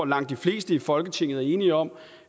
langt de fleste i folketinget er enige om